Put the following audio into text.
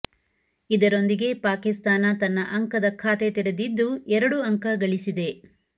ಇದರೊಂದಿಗೆ ಪಾಕಿಸ್ತಾನ ತನ್ನ ಅಂಕದ ಖಾತೆ ತೆರೆದಿದ್ದು ಎರಡು ಅಂಕ ಗಳಿಸಿದೆ